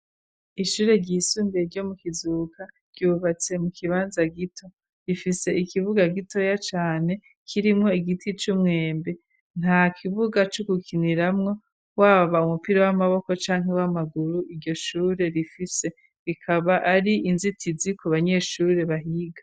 Ishure ryisumbiye ryo mu kizuka ryubatse mu kibanza gito rifise ikibuga gitoya cane kirimwo igiti c'umwembe nta kibuga c'ugukiniramwo waba umupira w'amaboko canke w'amaguru iryo shure rifise rikaba ari inzitizi ku banyeshure bahiga.